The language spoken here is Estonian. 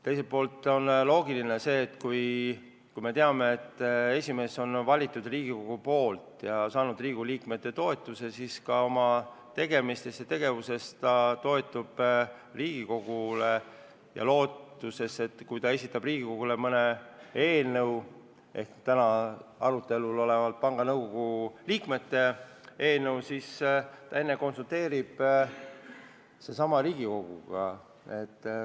Vahest oleks loogiline, et kui esimees on valitud Riigikogu poolt ja saanud Riigikogu liikmete toetuse, siis ta oma tegevuses toetub Riigikogule ja on alust loota, et kui ta esitab Riigikogule mõne eelnõu – pean silmas täna arutelul olevat panga nõukogu liikmete nimetamise eelnõu –, siis ta enne konsulteerib Riigikoguga.